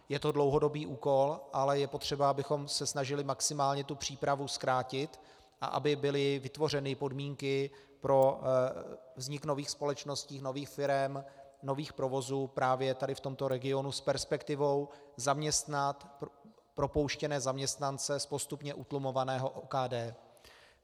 Je to dlouhodobý úkol, ale je potřeba, abychom se snažili maximálně tu přípravu zkrátit a aby byly vytvořeny podmínky pro vznik nových společností, nových firem, nových provozů právě tady v tomto regionu s perspektivou zaměstnat propouštěné zaměstnance z postupně utlumovaného OKD.